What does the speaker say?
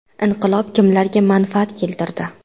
Inqilob kimlarga manfaat keltirdi?